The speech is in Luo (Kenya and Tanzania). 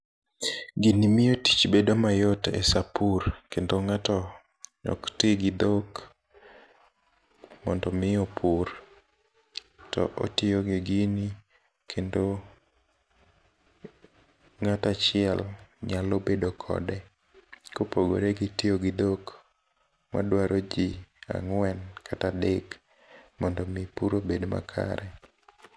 Gini miyo tich bedo mayot e saa pur kendo ng'ato ok tii gi dhok mondo mi opur. To otiyo gi gini kendo ng'ata achiel nyalo bedo kode. Kopogore gi tiyo gu dhok odwaro jii ang'en kata adek mondi mi pur obed makare.